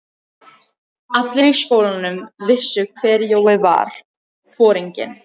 Allir í skólanum vissu hver Jói var, foringinn.